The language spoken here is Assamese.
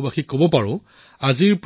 অভিজ্ঞতা কি আছিল